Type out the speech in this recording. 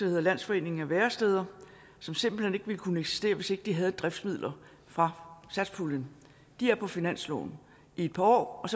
hedder landsforeningen af væresteder som simpelt hen ikke ville kunne eksistere hvis ikke de havde driftsmidler fra satspuljen de er på finansloven i et par år og